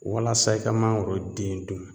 Walasa i ka mangoro den dun